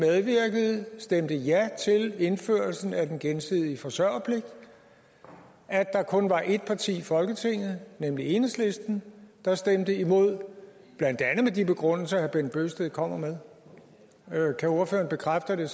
stemte ja til indførelsen af den gensidige forsørgerpligt og at der kun var et parti i folketinget nemlig enhedslisten der stemte imod blandt andet med de begrundelser som herre bent bøgsted kommer med kan ordføreren bekræfte at det